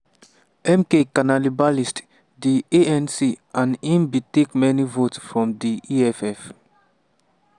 "mk cannibalised di anc and im bin take many votes from di eff.